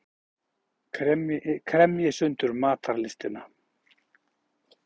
Kremji sundur matarlystina.